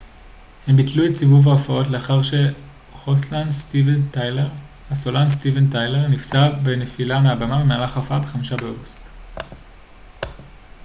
הם ביטלו את סיבוב ההופעות לאחר שהסולן סטיבן טיילר נפצע בנפילה מהבמה במהלך הופעה ב-5 באוגוסט